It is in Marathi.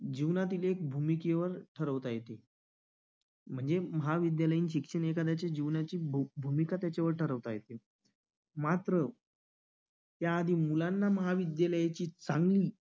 जीवनातील एक भूमिकेवर ठरवता येते म्हणजे महाविद्यालयीन शिक्षण हे कदाचित जीवनाची भूमिका त्याच्यावर ठरवता येते मात्र त्याआधी मुलांना महाविद्यालयाची मा अह